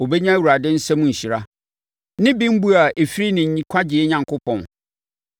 Ɔbɛnya Awurade nsam nhyira ne bembuo a ɛfiri ne Nkwagyeɛ Onyankopɔn.